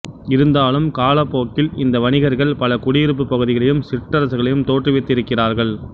இருந்தாலும் காலப் போக்கில் இந்த வணிகர்கள் பல குடியிருப்புப் பகுதிகளையும் சிற்றரசுகளையும் தோற்றுவித்து இருக்கிறார்கள்